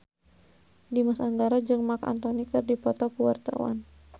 Dimas Anggara jeung Marc Anthony keur dipoto ku wartawan